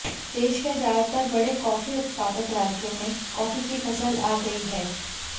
देश के ज्यादातर बड़े कॉफी उत्पादक राज्यों में कॉफी की फसल आ गई है